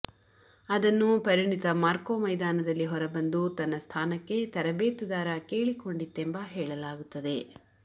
ಅದನ್ನು ಪರಿಣಿತ ಮಾರ್ಕೊ ಮೈದಾನದಲ್ಲಿ ಹೊರಬಂದು ತನ್ನ ಸ್ಥಾನಕ್ಕೆ ತರಬೇತುದಾರ ಕೇಳಿಕೊಂಡಿತ್ತೆಂಬ ಹೇಳಲಾಗುತ್ತದೆ